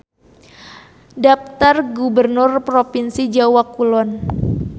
Daptar gubernur propinsi Jawa Kulon.